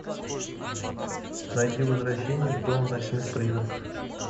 найди возвращение в дом ночных призраков